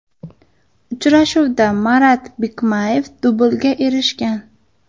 Uchrashuvda Marat Bikmayev dublga erishgan.